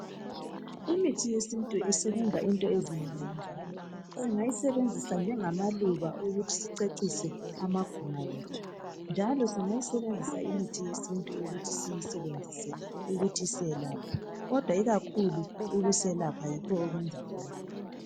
Imithi yesintu isebenza into ezinengi njalo singayisebenzisa njengamaluba ukuthi sicecise amaguma ethu njalo singayisebenzisa imithi yesintu ukuthi siyisebenzise ukuthi iselaphe kodwa ikakhulu ukuselapha yikho okwenzakhona.